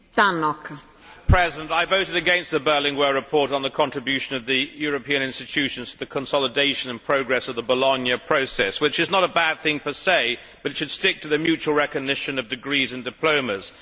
Madam President, I voted against the Berlinguer report on the contribution of the European institutions to the consolidation and progress of the Bologna Process which is not a bad thing per se, but it should stick to the mutual recognition of degrees and diplomas.